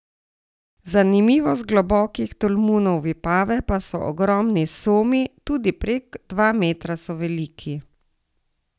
Zanimivost globokih tolmunov Vipave pa so ogromni somi, tudi prek dva metra so veliki.